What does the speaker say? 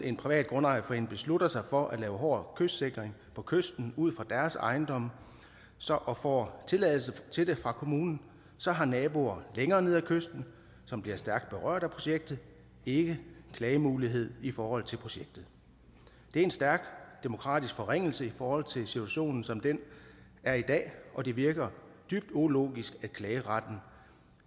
en privat grundejerforening beslutter sig for at lave hård kystsikring på kysten ud for deres ejendomme og får tilladelse til det fra kommunen så har naboer længere nede ad kysten som bliver stærkt berørt af projektet ikke klagemulighed i forhold til projektet det er en stærk demokratisk forringelse i forhold til situationen som den er i dag og det virker dybt ulogisk